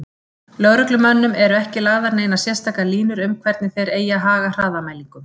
Lögreglumönnum eru ekki lagðar neinar sérstakar línur um hvernig þeir eigi að haga hraðamælingum.